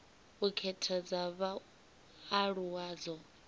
u khetha dza vhaaluwa dzo